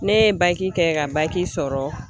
Ne ye kɛ ka sɔrɔ.